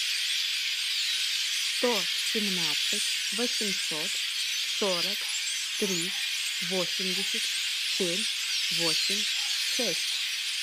сто семнадцать восемьсот сорок три восемьдесят семь восемь шесть